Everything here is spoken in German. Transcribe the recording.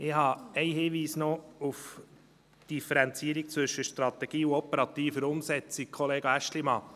Ich habe einen Hinweis zur Differenzierung von Strategie und operativer Umsetzung, Kollege Aeschlimann: